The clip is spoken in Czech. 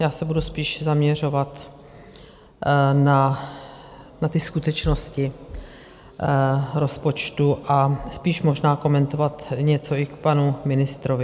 Já se budu spíš zaměřovat na ty skutečnosti rozpočtu a spíš možná komentovat něco i k panu ministrovi.